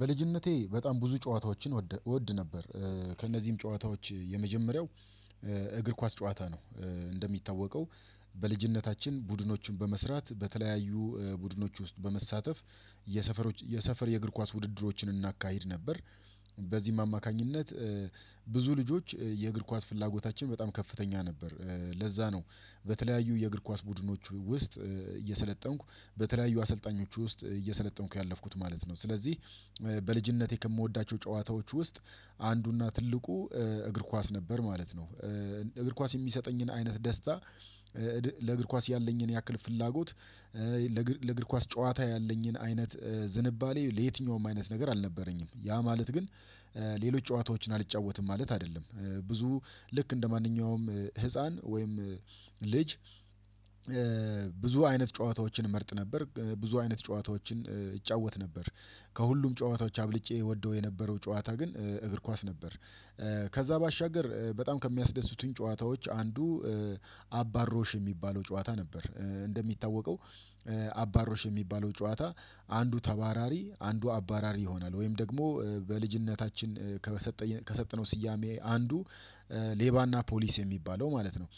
በልጅነቴ በጣም ብዙ ጨዋታዎችን እወድ ነበር። ከእነዚህም ጨዋታዎች የመጀመሪያው እግር ኳስ ጨዋታ ነው። እንደሚታወቀው በልጅነታችን ቡድኖችን በመስራት በተለያዩ ቡድኖች ውስጥ በመሳተፍ የሰፈሮች የሰፈር የእግር ኳስ ውድድሮችን እናካሂድ ነበር። በዚህም አማካኝነት ብዙ ልጆች የእግር ኳስ ፍላጎታችን በጣም ከፍተኛ ነበር። ለዛ ነው በተለያዩ የእግር ኳስ ቡድኖች ውስጥ እየሰለጠንኩ በተለያዩ አሰልጣኞች ውስጥ እየሰለጠንኩ ያለፍኩት ማለት ነው። ስለዚህ በልጅነቴ ከምወዳቸው ጨዋታዎች ውስጥ አንዱና ትልቁ እግር ኳስ ነበር ማለት ነው። እግር ኳስ የሚሰጠኝን አይነት ደስታ ለእግር ኳስ ያለኝን ያክል ፍላጎት ለእግር ኳስ ጨዋታ ያለኝን አይነት ዝንባሌ ለየትኛውም አይነት ነገር አልነበረኝም። ያ ማለት ግን ሌሎች ጨዋታዎችን አልጫወትም ማለት አይደለም። ብዙ ልክ እንደማንኛውም ህፃን ወይም ልጅ ብዙ አይነት ጨዋታዎችን እመርጥ ነበር ብዙ አይነት ጨዋታዎችን እጫወት ነበር። ከሁሉም ጨዋታዎች አብልጬ እወደው የነበረው ጨዋታ ግን እግር ኳስ ነበር ከዛ ባሻገር በጣም ከሚያስደስቱኝ ጨዋታዎች አንዱ አባሮሽ የሚባለው ጨዋታ ነበር። እንደሚታወቀው አባሮሽ የሚባለው ጨዋታ አንዱ ተባራሪ አንዱ አባራሪ ይሆናል ወይም ደግሞ በልጅነታችን ከሰጠነው ስያሜ አንዱ ሌባና ፖሊስ የሚባለው ማለት ነው።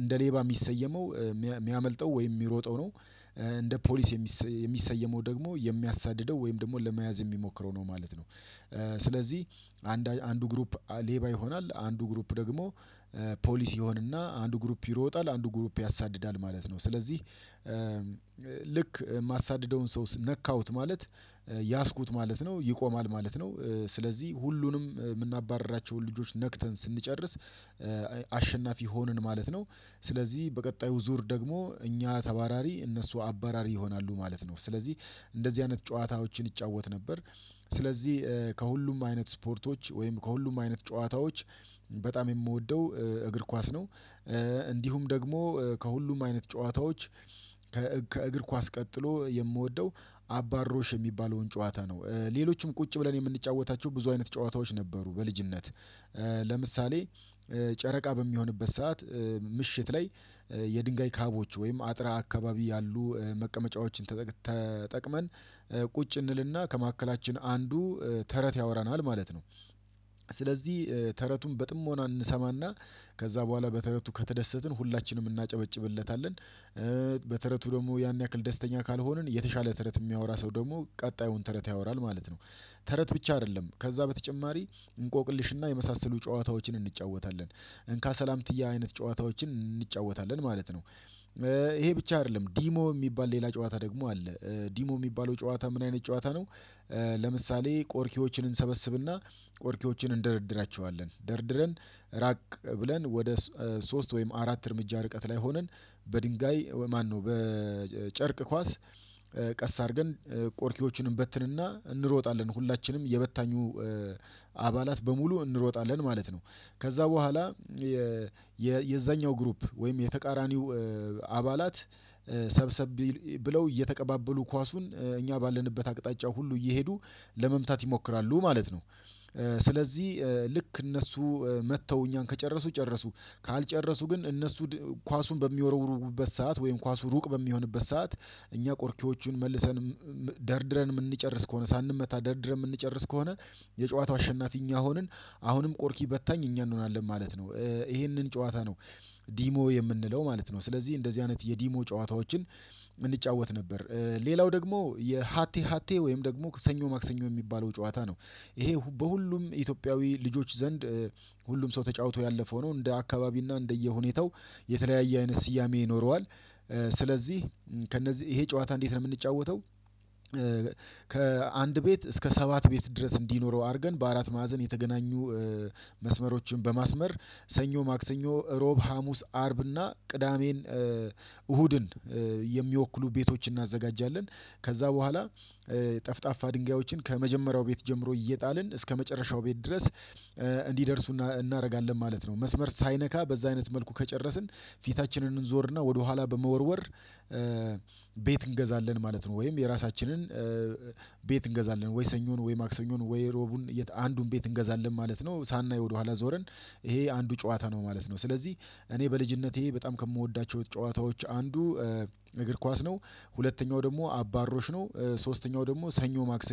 እንደ ሌባ የሚሰየመው የሚያመልጠው ወይም የሚሮጠው ነው። እንደ ፖሊስ የሚሰየመው ደግሞ የሚያሳድደው ወይም ደግሞ ለመያዝ የሚሞክረው ነው ማለት ነው። ስለዚህ አንድ አንዱ ግሩፕ ሌባ ይሆናል አንዱ ግሩፕ ደግሞ ፖሊስ ይሆንና አንዱ ግሩፕ ይሮጣል አንዱ ግሩፕ ያሳድዳል ማለት ነው። ስለዚህ ልክ የማሳድደውን ሰው ነካሁት ማለት ያዝኩት ማለት ነው ይቆማል ማለት ነው። ስለዚህ ሁሉንም የምናባርራቸውን ልጆች ነክተን ስንጨርስ አሸናፊ ሆንን ማለት ነው። ስለዚህ በቀጣዩ ዙር ደግሞ እኛ ተባራሪ እነሱ አባራሪ ይሆናሉ ማለት ነው። ስለዚህ እንደዚህ አይነት ጨዋታዎችን እጫወት ነበር። ስለዚህ ከሁሉም አይነት ስፖርቶች ወይም ከሁሉም አይነት ጨዋታዎች በጣም የምወደው እግር ኳስ ነው። እንዲሁም ደግሞ ከሁሉም አይነት ጨዋታዎች ከእግር ኳስ ቀጥሎ የምወደው አባሮሽ የሚባለውን ጨዋታ ነው። ሌሎችም ቁጭ ብለን የምንጫወታቸው ብዙ አይነት ጨዋታዎች ነበሩ በልጅነት። ለምሳሌ ጨረቃ በሚሆንበት ሰዓት ምሽት ላይ የድንጋይ ካቦች ወይም አጥር አካባቢ ያሉ መቀመጫዎችን ተጠቅመን ቁጭ እንልና ከመካከላችን አንዱ ተረት ያወራናል ማለት ነው። ስለዚህ ተረቱን በጥሞና እንሰማና ከዛ በኋላ በተረቱ ከተደሰትን ሁላችንም እናጨበጭብለታለን። በተረቱ ደግሞ ያን ያክል ደስተኛ ካልሆንን የተሻለ ተረት የሚያወራ ሰው ደግሞ ቀጣዩን ተረት ያወራል ማለት ነው። ተረት ብቻ አይደለም ከዛ በተጨማሪ እንቆቅልሽና የመሳሰሉ ጨዋታዎችን እንጫወታለን። እንካ ሰላምትያ አይነት ጨዋታዎችን እንጫወታለን ማለት ነው። ይሄ ብቻ አይደለም ዲሞ የሚባል ሌላ ጨዋታ ደግሞ አለ። ዲሞ የሚባለው ጨዋታ ምን አይነት ጨዋታ ነው ለምሳሌ ቆርኪዎችን እንሰበስብና ቆርኪዎችን እንደረድራቸዋለን። ደርድረን ራቅ ብለን ወደ ሶስት ወይም አራት እርምጃ ርቀት ላይ ሆነን በድንጋይ ማነው በጨርቅ ኳስ ቀስ አድርገን ቆርኪዎቹን እንበትንና እንሮጣለን። ሁላችንም የበታኙ አባላት በሙሉ እንሮጣለን ማለት ነው። ከዛ በኋላ የዛኛው ግሩፕ ወይም የተቃራኒው አባላት ሰብሰብ ብለው እየተቀባበሉ ኳሱን እኛ ባለንበት አቅጣጫ ሁሉ እየሄዱ ለመምታት ይሞክራሉ ማለት ነው። ስለዚህ ልክ እነሱ መተው እኛን ከጨረሱ ጨረሱ፤ ካልጨረሱ ግን እነሱ ኳሱን በሚወረውሩበት ሰዓት ወይም ኳሱ ሩቅ በሚሆንበት ሰዓት፤ እኛ ቆርኪዎቹን መልሰን ደርድረን የምንጨርስ ከሆነ ሳንመታ ደርድረን የምንጨርስ ከሆነ፤ የጨዋታው አሸናፊኛ ሆንን አሁንም ቆርኪ በታኝ እኛ እንሆናለን ማለት ነው። ይሄንን ጨዋታ ነው ዲሞ የምንለው ማለት ነው። ስለዚህ እንደዚህ አይነት የዲሞ ጨዋታዎችን እንጫወት ነበር። ሌላው ደግሞ የሃቴ ሃቴ ወይም ደግሞ ሰኞ ማክሰኞ የሚባለው ጨዋታ ነው ይሄ በሁሉም ኢትዮጵያዊ ልጆች ዘንድ ሁሉም ሰው ተጫውቶ ያለፈው ነው። እንደ አካባቢና እንደየሁኔታው የተለያየ አይነት ስያሜ ይኖረዋል። ስለዚህ ከእነዚህ ይሄ ጨዋታ እንዴት ነው የምንጫወተው ከአንድ ቤት እስከ ሰባት ቤት ድረስ እንዲኖረው አድርገን በአራት ማዕዘን የተገናኙ መስመሮችን በማስመር ሰኞ ማክሰኞ እሮብ ሀሙስ አርብ እና ቅዳሜን እሁድን የሚወክሉ ቤቶችን እናዘጋጃለን። ከዛ በኋላ ጠፍጣፋ ድንጋዮችን ከመጀመሪያው ቤት ጀምሮ እየጣልን እስከመጨረሻው ቤት ድረስ እንዲደርሱና እናደርጋለን ማለት ነው። መስመር ሳይነካ በዛ አይነት መልኩ ከጨረስን ፊታችንን እንዞርና ወደኋላ በመወርወር ቤት እንገዛለን ማለት ነው። ወይም የራሳችንን ቤት እንገዛለን ወይ ሰኞን ወይ ማክሰኞን ወይ ሮቡን አንዱን ቤት እንገዛለን ማለት ነው ሳናይ ወደኋላ ዞረን። ይሄ አንዱ ጨዋታ ነው ማለት ነው። ስለዚህ እኔ በልጅነቴ በጣም ከምወዳቸው ጨዋታዎች አንዱ እግር ኳስ ነው። ሁለተኛው ደግሞ አባሮሽ ነው። ሶስተኛው ደግሞ ሰኞ ማክሰ